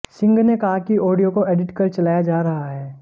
सिंह ने कहा कि ऑडियो को एडिट कर चलाया जा रहा है